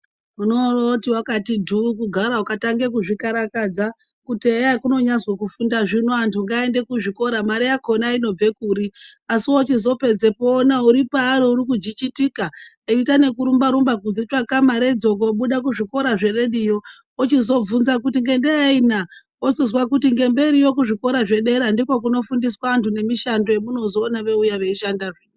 Unorooti wakati dhuu, kugara, ukatange kuzvikarakadza, kuti eya hekunonyazwi kufunda zvino, anthu ngaaende kuzvikora, mare yakhona inobve kuri? Asi wachizopedza woona uri paari uri kujijitika, eiita ne kurumba-rumba kudzitsvaka maredzo, koobuda kuzvikora zverediyo, ochizobvunza kuti ngendaa yei naa? Wozozwa kuti ngemberiyo, kuzvikora zvedera ndiko kunofundiswa anthu nemishando yemunozoona eiuya, eishandazve.